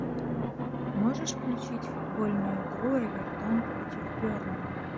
можешь включить футбольную игру эвертон против бернли